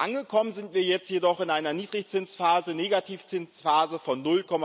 Angekommen sind wir jetzt jedoch in einer Niedrigzinsphase, einer Negativzinsphase von